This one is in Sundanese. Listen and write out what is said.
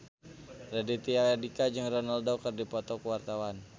Raditya Dika jeung Ronaldo keur dipoto ku wartawan